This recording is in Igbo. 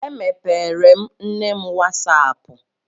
Emepeere m nne m wasaapụ.